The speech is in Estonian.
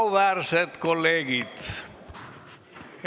Auväärsed kolleegid!